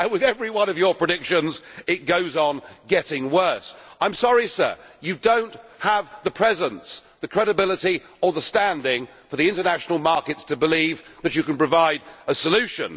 With every one of your predictions it goes on getting worse. I am sorry, sir you do not have the presence, the credibility or the standing for the international markets to believe that you can provide a solution.